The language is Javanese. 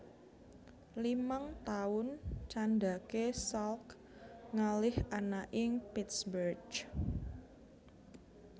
Limang taun candhake Salk ngalih ana ing Pittsburgh